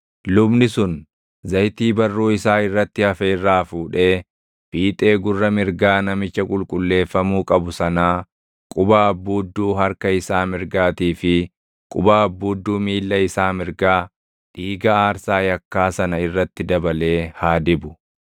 Lubni sun zayitii barruu isaa irratti hafe irraa fuudhee fiixee gurra mirgaa namicha qulqulleeffamuu qabu sanaa, quba abbuudduu harka isaa mirgaatii fi quba abbuudduu miilla isaa mirgaa, dhiiga aarsaa yakkaa sana irratti dabalee haa dibu.